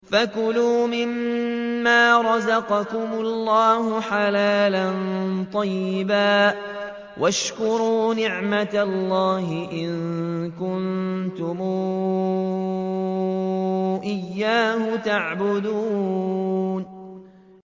فَكُلُوا مِمَّا رَزَقَكُمُ اللَّهُ حَلَالًا طَيِّبًا وَاشْكُرُوا نِعْمَتَ اللَّهِ إِن كُنتُمْ إِيَّاهُ تَعْبُدُونَ